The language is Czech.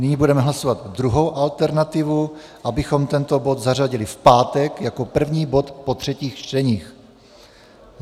Nyní budeme hlasovat druhou alternativu, abychom tento bod zařadili v pátek jako první bod po třetích čteních.